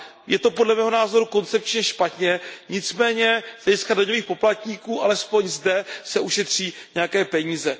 Je to, podle mého názoru, koncepčně špatně, nicméně z hlediska daňových poplatníků alespoň zde se ušetří nějaké peníze.